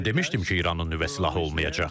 Mən demişdim ki, İranın nüvə silahı olmayacaq.